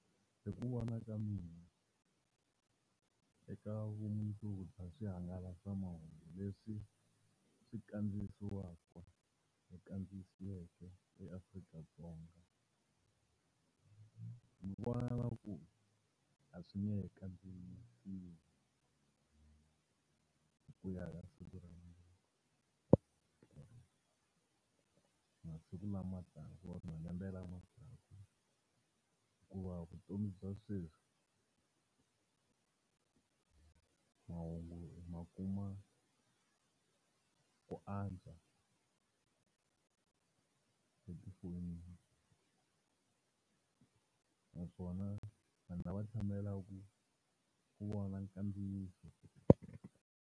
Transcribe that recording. Hi ku vona ka mina eka vumundzuku bya swihangalasamahungu leswi swi kandziyisiwaka kandziyisiweke eAfrika-Dzonga. Ni vona i ngaku a swi nge he kandziyisiwi hi ku ya hi masiku lama taka or malembe lama taka, hikuva vutomi bya sweswi mahungu hi ma kuma ku antswa etifonini, naswona vanhu lava tshamelaka ku vona kandziyiso.